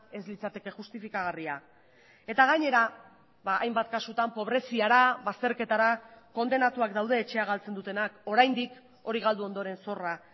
ez litzateke justifikagarria eta gainera hainbat kasutan pobreziara bazterketara kondenatuak daude etxea galtzen dutenak oraindik hori galdu ondoren zorra